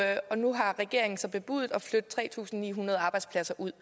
nu har regeringen så bebudet at flytte tre tusind ni hundrede arbejdspladser ud